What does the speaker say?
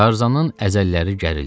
Tarzanın əzəlləri gərildi.